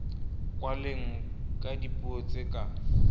kwalwe ka dipuo tse ka